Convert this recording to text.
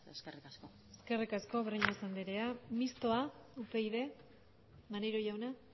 eskerrik asko eskerrik asko breñas andrea mistoa upyd maneiro jauna